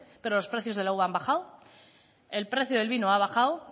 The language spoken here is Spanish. pero los precios de la uva han bajado el precio del vino ha bajado